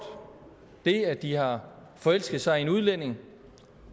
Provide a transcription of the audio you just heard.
det at de har forelsket sig i en udlænding